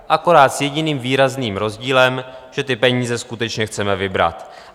Akorát s jediným výrazným rozdílem, že ty peníze skutečně chceme vybrat.